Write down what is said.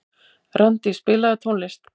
Randí, spilaðu tónlist.